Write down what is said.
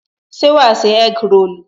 se wà ṣe egg rolu?